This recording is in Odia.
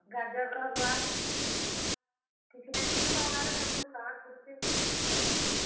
ଗାଜର ର୍ ହଲଓ୍ବା, କିଛି ନା କିଛି ବାହାନା ରେ ତାଙ୍କୁ ଖୁଆବାର୍ ପଡୁଛେ।।